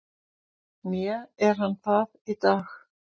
Né er hann það í dag.